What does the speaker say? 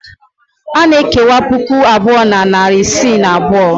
A na-ekewa puku abụọ na narị isii na abụọ.